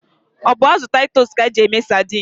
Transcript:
Ọ bụ azụ titus ka eji eme sadine.